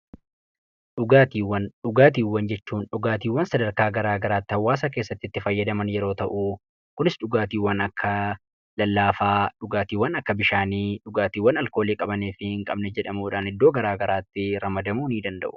Dhugaatiiwwan, dhugaatiiwwan sadarkaa garaagaraatti hawaasa keessatti fayyadaman yoo ta'u, kunis dhugaatiiwwan akka lallaafaa dhugaatiiwwan akka bishaanii, dhugaatiiwwan alkoolii qabanii fi jedhamuudhaan iddoo garaagaraatti ramadamuu danda'u.